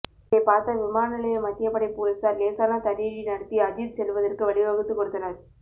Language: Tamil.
இதை பார்த்த விமான நிலைய மத்தியப்படை போலீசார் லேசான தடியடி நடத்தி அஜீத் செல்வதற்கு வழிவகுத்து கொடுத்தனர்